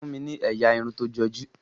fún mí ní ẹyà Irun tó joju.